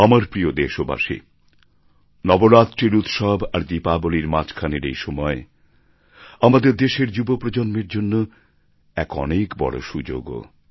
আমার প্রিয় দেশবাসী নবরাত্রির উৎসব আর দীপাবলির মাঝখানের এই সময় আমাদের দেশের যুব প্রজন্মের জন্য এক অনেক বড়ো সুযোগও